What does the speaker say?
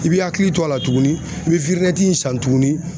I b'i hakili to a la tuguni i bɛ in san tuguni